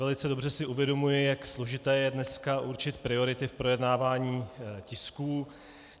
Velice dobře si uvědomuji, jak složité je dneska určit priority v projednávání tisků.